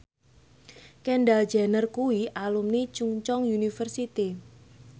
Kendall Jenner kuwi alumni Chungceong University